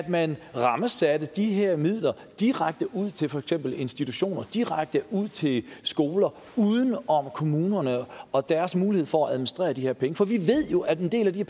man rammesatte de her midler direkte ud til for eksempel institutioner direkte ud til skoler uden om kommunerne og deres mulighed for at administrere de her penge for vi ved jo at en del af de